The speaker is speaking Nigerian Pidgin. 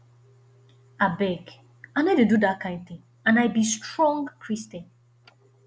abeg i no dey do dat kin thing and i be strong christian